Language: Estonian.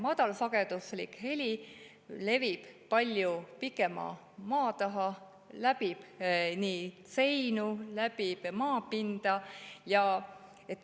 Madalsageduslik heli levib palju pikema maa taha, see läbib seinu, läbib maapinda.